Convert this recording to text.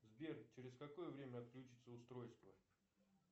сбер через какое время отключится устройство